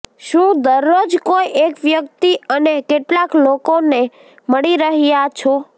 શુ દરરોજ કોઇ એક વ્યક્તિ અને કેટલાક લોકોને મળી રહ્યા છો